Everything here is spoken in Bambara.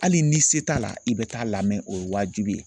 Hali ni se t'a la i bɛ taa lamɛn o ye wajibi ye.